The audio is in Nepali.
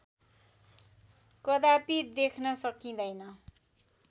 कदापि देख्न सकिँदैन